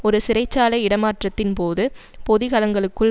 ஒரு சிறை சாலை இடமாற்றத்தின் போது பொதிகலங்களுக்குள்